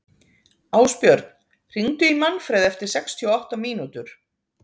Ásbjörn, hringdu í Manfred eftir sextíu og átta mínútur.